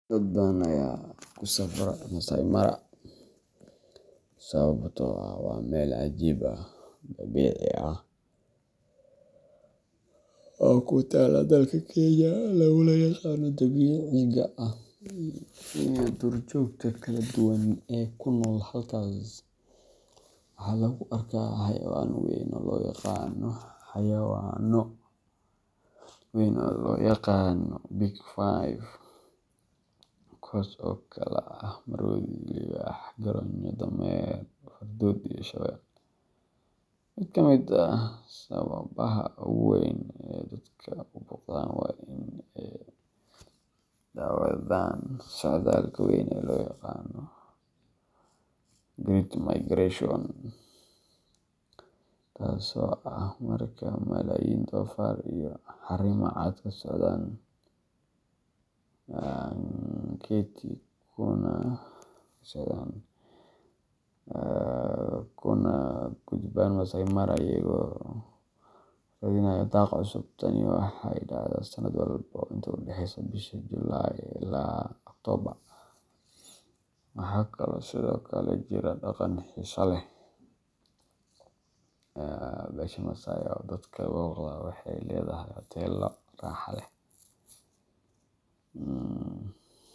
Dad badan aya kusafra Maasai Mara sawabto ah waa meel cajib ah dabici ah oo kutala dalka kenya laguna yaqan dabiciga ah iyo dur jogta kala duwan ee kunol halkas waxaa lagu arkaa xayawana weyn oo lo yaqano big five kuwas oo kala ah marodhi liwax garonyo dameer fardod iyo shawel, miid kamiid ah sawabaha ogu weyn ee dadka uboqdan waa in ee dawadhan socdalka weyn ee lo yaqano great migration taso ah marka malayin dofar iyo xarima caad kasocdan nketi kuna gudban maasai mara iyago radhinaya daq cusub, tani waxee dacda sanaad walbo inta udaxeysa bisha July ila October waxaa sithokale jira daqanka xisaha leh ee besha masai oo dadka boqda waxee ledhahay hotelo raxa leh.